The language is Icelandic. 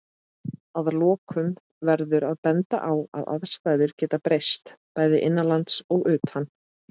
Að lokum verður að benda á að aðstæður geta breyst, bæði innanlands og utan.